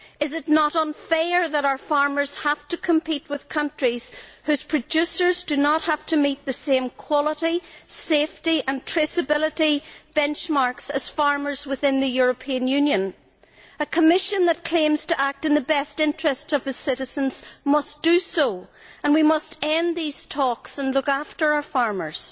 Is it not unfair that our farmers have to compete with countries whose producers do not have to meet the same quality, safety and traceability benchmarks as farmers within the European Union? A Commission that claims to act in the best interests of the citizens must do so. We must end these talks and look after our farmers.